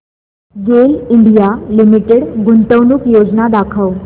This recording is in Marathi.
गेल इंडिया लिमिटेड गुंतवणूक योजना दाखव